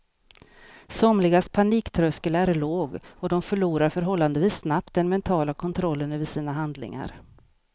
Somligas paniktröskel är låg och de förlorar förhållandevis snabbt den mentala kontrollen över sina handlingar.